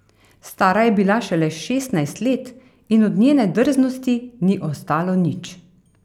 Stara je bila šele šestnajst let in od njene drznosti ni ostalo nič.